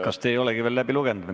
Kas te ei olegi seda veel läbi lugenud?